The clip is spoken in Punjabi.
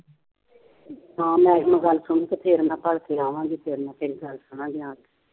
ਹਾਂ madam ਸੁਣਕੇ ਫੇਰ ਮੈਂ ਭਲਕੇ ਆਵਾਂਗੀ ਫੇਰ ਮੈਂ ਤੇਰੀ ਗੱਲ ਸੁਣਾਂਗੀ ਆਣ ਕੇ